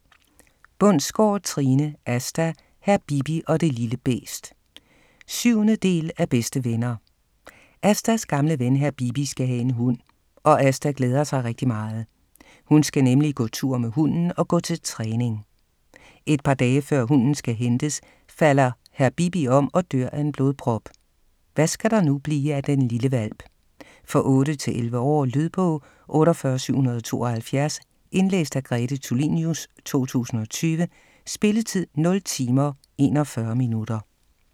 Bundsgaard, Trine: Asta, hr. Bibi og det lille bæst 7. del af Bedste venner. Astas gamle ven hr. Bibi skal have en hund, og Asta glæder sig rigtig meget. Hun skal nemlig gå tur med hunden og gå til træning. Et par dage før hunden skal hentes, falder hr. Bibi om og dør af en blodprop, hvad skal der nu blive af den lille hvalp? For 8-11 år. Lydbog 48772 Indlæst af Grete Tulinius, 2020. Spilletid: 0 timer, 41 minutter.